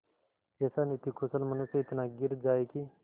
ऐसा नीतिकुशल मनुष्य इतना गिर जाए कि